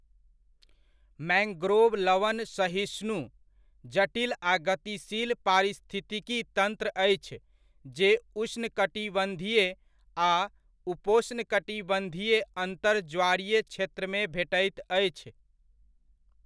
Mangrove लवण सहिष्णु, जटिल आ गतिशील पारिस्थितिकी तंत्र अछि जे उष्णकटिबंधीय आ उपोष्णकटिबंधीय अन्तर ज्वारीय क्षेत्रमे भेटैत अछि।